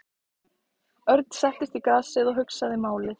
Örn settist í grasið og hugsaði málið.